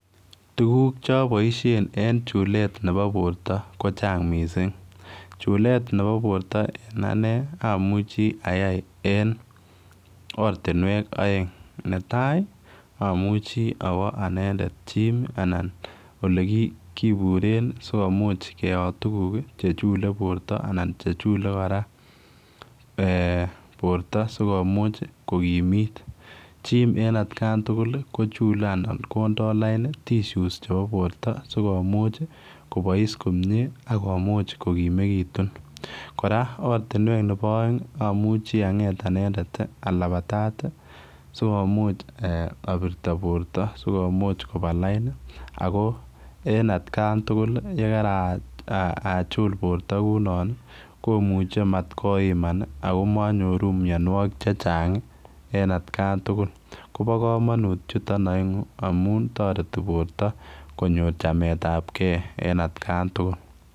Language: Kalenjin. Tuguk naboisien en chuleet ne bo borto ko Chang Mising chulet Nebo borta en Ane ko amuchi ayai en oratinywek aeng netai amuchi awa anendet Chim anan olekiburen sokomuch kuyot tuguk chechule borta anan chechule koraa borta sikomuch kokimit, Chim koraa en atkan tugul kuchule anan ko ndo lain tishus chebo borta sikomuch kobais komie anan akomuch kokimekitun koraa oratinywek Nebo aeng amuche anget anendet alabatat sikomuch abirti borta sikomuch Koba lain ako en atkan tugul yekarachul borta kuonon komuche matkoiman akokanyoru mianwagik chechang en atkan tugul kobakamanut amun tareti konyor chamet ab gei en atkan tugul